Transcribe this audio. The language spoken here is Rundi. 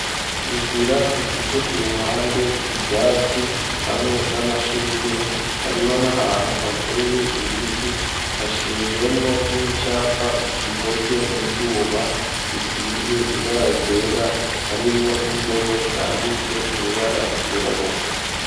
Inzira ifise, ku ruhande, ivyatsi, hamwe n'amashurwe; hariho n'ahantu, hateye ibiti, hashinzemwo n'icapa, gikozwe mu vyuma, gisize ibara ryera, harimwo n'indome, zanditse mw’ibara ryirabura.